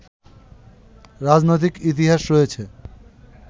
রাজনৈতিক ইতিহাস রয়েছে